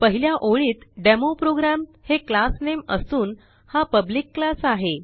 पहिल्या ओळीत डेमोप्रोग्राम हे क्लास नामे असून हा पब्लिक क्लास आहे